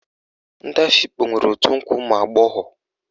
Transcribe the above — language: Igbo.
Ndị Afikpo nwere òtù nkwa ụmụagbọghọ